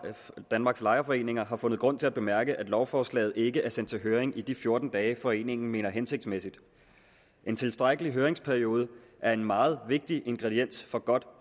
danmarks lejerforeninger har fundet grund til at bemærke at lovforslaget ikke er sendt til høring i de fjorten dage foreningen mener det hensigtsmæssigt en tilstrækkelig høringsperiode er en meget vigtig ingrediens for godt